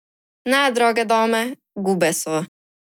Ne, drage dame, gube so!